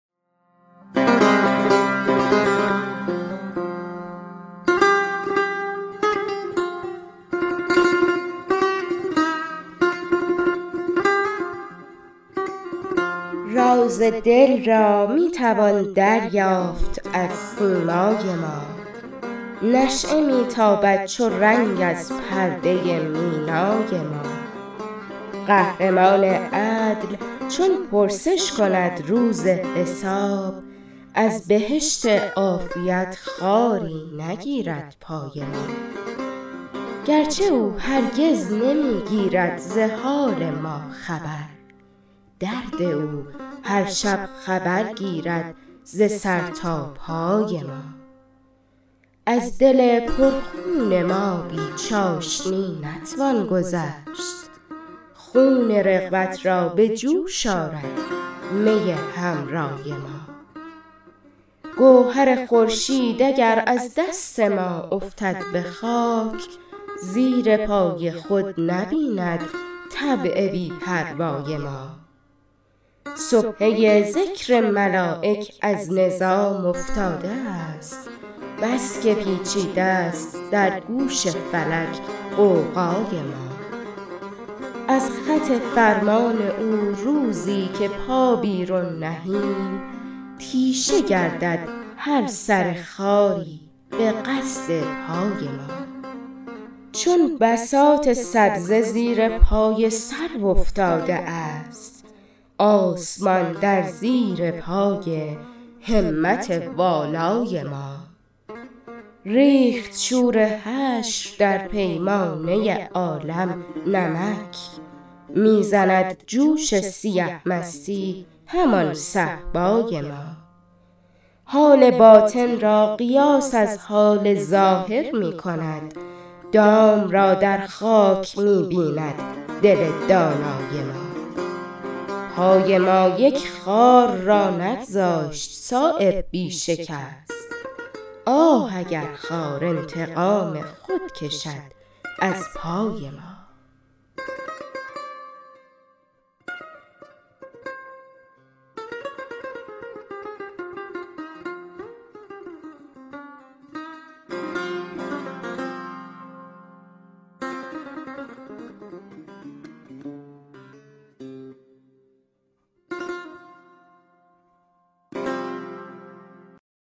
راز دل را می توان دریافت از سیمای ما نشأه می تابد چو رنگ از پرده مینای ما قهرمان عدل چون پرسش کند روز حساب از بهشت عافیت خاری نگیرد پای ما گرچه او هرگز نمی گیرد ز حال ما خبر درد او هر شب خبر گیرد ز سر تا پای ما از دل پر خون ما بی چاشنی نتوان گذشت خون رغبت را به جوش آرد می حمرای ما گوهر خورشید اگر از دست ما افتد به خاک زیر پای خود نبیند طبع بی پروای ما سبحه ذکر ملایک از نظام افتاده است بس که پیچیده است در گوش فلک غوغای ما از خط فرمان او روزی که پا بیرون نهیم تیشه گردد هر سر خاری به قصد پای ما چون بساط سبزه زیر پای سرو افتاده است آسمان در زیر پای همت والای ما ریخت شور حشر در پیمانه عالم نمک می زند جوش سیه مستی همان صهبای ما حال باطن را قیاس از حال ظاهر می کند دام را در خاک می بیند دل دانای ما پای ما یک خار را نگذاشت صایب بی شکست آه اگر خار انتقام خود کشد از پای ما